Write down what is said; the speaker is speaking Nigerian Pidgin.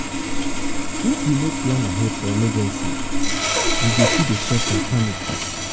if we no plan ahead for emergency we go too dey suffer panic.